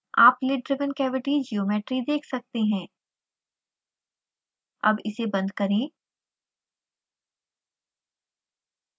आप lid driven cavity geometry देख सकते हैं अब इसे बंद करें